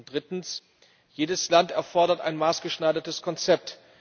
Drittens Jedes Land erfordert ein maßgeschneidertes Konzept.